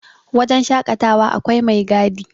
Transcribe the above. wajen shaƙatawa akwai mai gadi